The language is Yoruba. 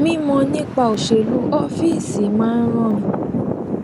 mímọ nípa òṣèlú ọfíìsì máa ń ràn mí